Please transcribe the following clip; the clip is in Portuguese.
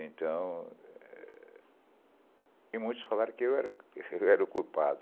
Então... E muitos falaram que eu era eu era o culpado.